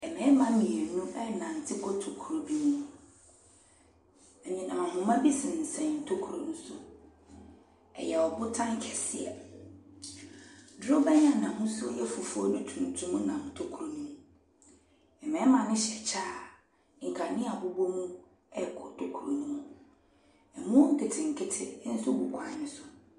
Mmarima mmienu ɛrenante kɔ tokuro bi mu, anyinam ahoma bi sensɛn tokuro no so. Ɛyɛ botan kɛseɛ, dorobɛn a n’ahosuo yɛ fufuo ne tuntum nam tokuro ne mu. Mmarima no hyɛ kyɛ kyɛ a kanea bobɔ mu ɛrekɔ tokuro no mu. Boɔ nketenkete nso gu kwan ne so.